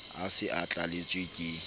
a se a tlalletswe ke